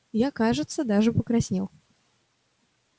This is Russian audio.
я кажется даже покраснел